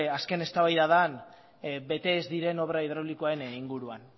azken eztabaida den bete ez diren obra hidraulikoen inguruan